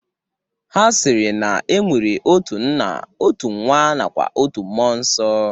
Ha sịrị na e nwere otu nna, otu nwa nakwa otu mmụọ nsọ.